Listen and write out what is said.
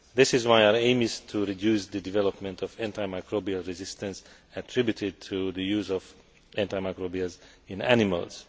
This is why our aim is to reduce the development of antimicrobial resistance attributed to the use of antimicrobials in animals.